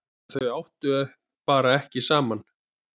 Þau áttu bara ekki saman.